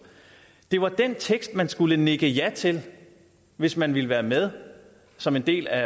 det var den tekst man skulle nikke ja til hvis man ville være med som en del af